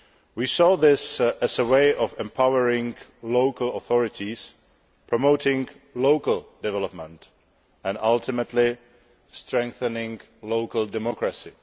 We saw this as a way of empowering local authorities, promoting local development and ultimately strengthening local democracy.